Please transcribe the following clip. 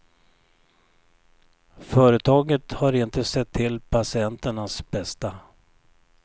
Företaget har inte sett till patienternas bästa.